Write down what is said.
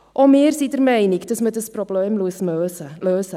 Auch wir sind der Meinung, dass man das Problem lösen muss.